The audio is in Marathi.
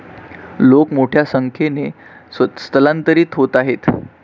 लोक मोठ्या संख्येने स्थलांतरित होत आहेत.